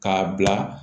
K'a bila